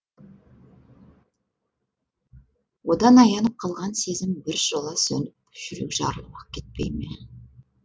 одан аянып қалған сезім біржола сөніп жүрек жарылып ақ кетпей ме